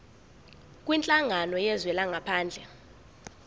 kwinhlangano yezwe langaphandle